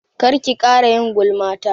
Kar ki ƙara yin gulma ta!